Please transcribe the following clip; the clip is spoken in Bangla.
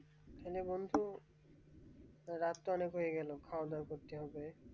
চলো বন্ধু রাত তো অনেক হয়ে গেল খাওয়া দাওয়া করতে হবে।